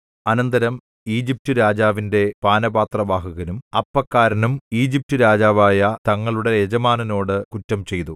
അനന്തരം ഈജിപ്റ്റുരാജാവിന്റെ പാനപാത്രവാഹകനും അപ്പക്കാരനും ഈജിപ്റ്റുരാജാവായ തങ്ങളുടെ യജമാനനോടു കുറ്റം ചെയ്തു